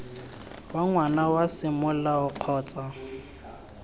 wa ngwana wa semolao kgotsa